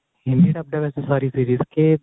Hindi dubbed ਹੈ ਵੈਸੇ ਸਾਰੀ series ਕੇ